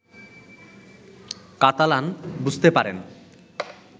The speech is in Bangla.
কাতালান বুঝতে পারেন